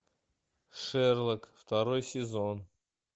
шерлок второй сезон